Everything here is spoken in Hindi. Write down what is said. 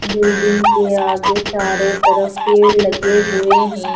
बिल्डिंग के आगे चारों तरफ पेड़ लगे हुए हैं।